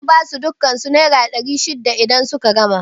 Zan basu dukan su naira ɗari shida idan suka gama aiki